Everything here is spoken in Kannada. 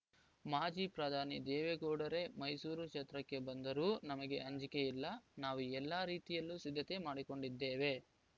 ಮಾಜಿ ಪ್ರಧಾನಿ ದೇವೇಗೌಡರೇ ಮೈಸೂರು ಕ್ಷೇತ್ರಕ್ಕೆ ಬಂದರೂ ನಮಗೆ ಅಂಜಿಕೆ ಇಲ್ಲ ನಾವು ಎಲ್ಲ ರೀತಿಯಲ್ಲೂ ಸಿದ್ಧತೆ ಮಾಡಿಕೊಂಡಿದ್ದೇವೆ